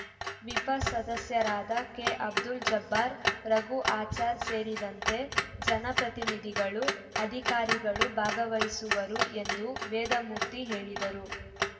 ವಿಪ ಸದಸ್ಯರಾದ ಕೆಅಬ್ದುಲ್‌ ಜಬ್ಬಾರ್‌ ರಘು ಆಚಾರ್‌ ಸೇರಿದಂತೆ ಜನ ಪ್ರತಿನಿಧಿಗಳು ಅದಿಕಾರಿಗಳು ಭಾಗವಹಿಸುವರು ಎಂದು ವೇದಮೂರ್ತಿ ಹೇಳಿದರು